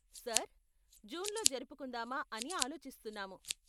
Sir, జూన్లో జరుపుకుందామా అని ఆలోచిస్తున్నాము.